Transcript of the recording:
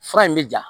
Fura in bɛ ja